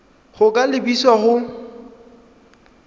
go ka lebisa kwa go